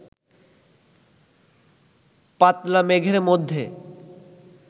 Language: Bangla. পাতলা মেঘের মধ্যে